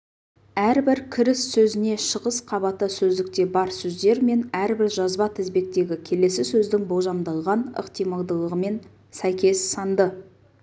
әрбір кіріс сөзіне шығыс қабаты сөздікте бар сөздер мен әрбір жазба тізбектегі келесі сөздің болжамдалған ықтималдылығымен сәйкес санды